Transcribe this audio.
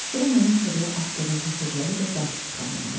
Sonra mənim sobaya atdığım kəsövləri də dartıb çıxarmağa başladı.